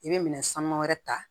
I bɛ minɛn sanuman wɛrɛ ta